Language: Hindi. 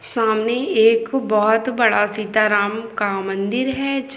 सामने एक बोहत बड़ा सीता -राम का मंदिर हैं।